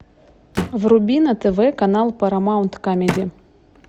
вруби на тв канал парамаунт камеди